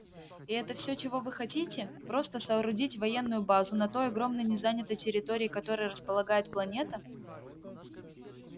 и это всё чего вы хотите просто соорудить военную базу на той огромной незанятой территории которой располагает планета